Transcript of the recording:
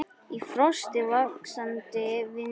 Í frosti, vaxandi vindi.